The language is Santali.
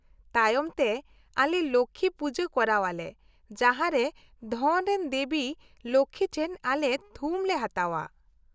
-ᱛᱟᱭᱚᱢᱛᱮ, ᱟᱞᱮ ᱞᱚᱠᱠᱷᱤ ᱯᱩᱡᱟᱹ ᱠᱚᱨᱟᱣᱟᱞᱮ, ᱡᱟᱦᱟᱨᱮ ᱫᱷᱚᱱ ᱨᱮᱱ ᱫᱮᱵᱤ ᱞᱚᱠᱠᱷᱤ ᱴᱷᱮᱱ ᱟᱞᱮ ᱛᱷᱩᱢ ᱞᱮ ᱦᱟᱛᱟᱣᱼᱟ ᱾